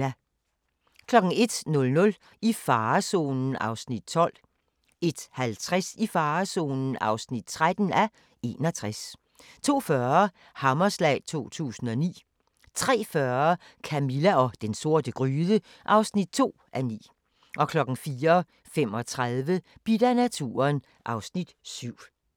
01:00: I farezonen (12:61) 01:50: I farezonen (13:61) 02:40: Hammerslag 2009 03:40: Camilla og den sorte gryde (2:9) 04:35: Bidt af naturen (Afs. 7)